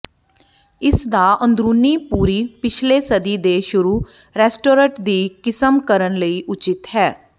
ਇਸ ਦਾ ਅੰਦਰੂਨੀ ਪੂਰੀ ਪਿਛਲੇ ਸਦੀ ਦੇ ਸ਼ੁਰੂ ਰੈਸਟੋਰਟ ਦੀ ਕਿਸਮ ਕਰਨ ਲਈ ਉਚਿਤ ਹੈ